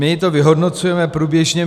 My to vyhodnocujeme průběžně.